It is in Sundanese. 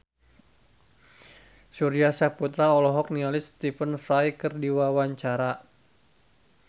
Surya Saputra olohok ningali Stephen Fry keur diwawancara